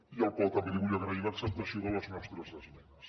i al qual també li vull agrair l’acceptació de les nostres esmenes